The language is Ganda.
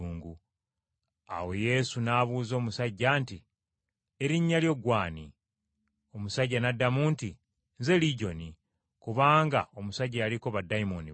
Awo Yesu n’abuuza omusajja nti, “Erinnya lyo ggwe ani?” Omusajja n’addamu nti, “Nze Ligyoni,” kubanga omusajja yaliko baddayimooni bangi.